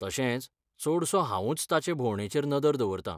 तशेंच, चडसों हांवूच ताचे भोंवडेचेर नदर दवरतां.